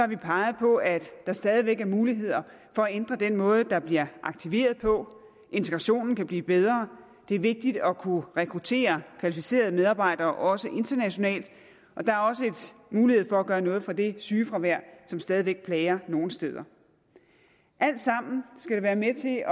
vi peget på at der stadig væk er muligheder for at ændre den måde der bliver aktiveret på integrationen kan blive bedre det er vigtigt at kunne rekruttere kvalificerede medarbejdere også internationalt og der er også mulighed for at gøre noget ved det sygefravær som stadig væk plager nogle steder alt sammen skal det være med til